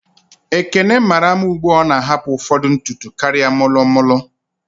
Ekene mara mma ugbua o na ahapu ụfọdụ ntutu karịa molo molo